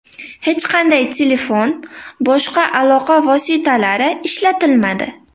Hech qanday telefon, boshqa aloqa vositalari ishlatilmadi.